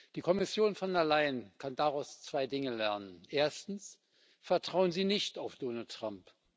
Die Kommission Von der Leyen kann daraus zwei Dinge lernen Erstens Vertrauen Sie nicht auf Donald Trump.